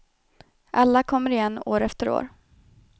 Alla kommer igen år efter år.